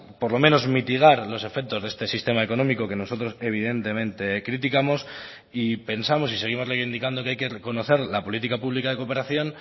por lo menos mitigar los efectos de este sistema económico que nosotros evidentemente criticamos y pensamos y seguimos reivindicando que hay que reconocer la política pública de cooperación